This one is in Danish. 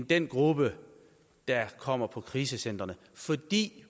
den gruppe der kommer på krisecentrene fordi